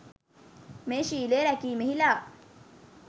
මේ ශීලය රැකීමෙහි ලා